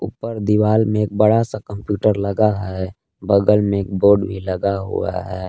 ऊपर दीवार में एक बड़ा सा कंप्यूटर लगा है बगल में एक बोर्ड भी लगा हुआ है।